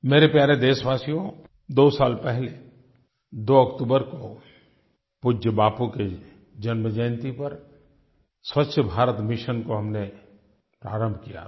मेरे प्यारे देशवासियो दो साल पहले 2 अक्टूबर को पूज्य बापू की जन्म जयंती पर स्वच्छ भारत मिशन को हमने प्रारंभ किया था